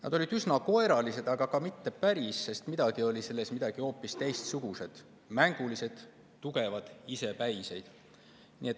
Nad olid üsna koeralised, aga mitte päris, sest midagi oli neis hoopis teistsugust: nad olid mängulised, tugevad, isepäised.